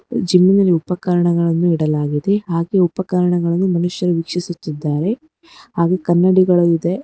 Jimmy ನಲ್ಲಿ ಉಪಕರಣಗಳನ್ನು ಇಡಲಾಗಿದೆ ಹಾಗೆ ಉಪಕರಣಗಳನ್ನು ಮನುಷ್ಯರೂ ವೀಕ್ಷಿಸುತ್ತಿದ್ದಾರೆ ಹಾಗೂ ಕನ್ನಡಿಗಳು ಇವೆ.